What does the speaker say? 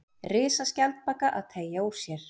Risaskjaldbaka að teygja úr sér.